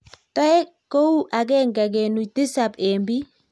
Toek kou agenge kenuch tisap eng piik